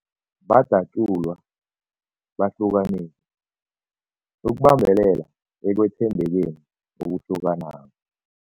Badatjulwa, bahlukaniswa ukubambelela ekwethembekeni okuhlukanako.